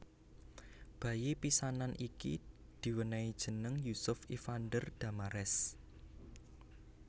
Bayi pisanan iki diwènèi jeneng Yusuf Ivander Damares